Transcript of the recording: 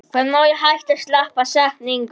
Hvað og hvar er heima?